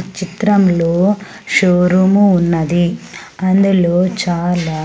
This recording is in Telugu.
ఈ చిత్రంలో షోరూము ఉన్నది అందులో చాలా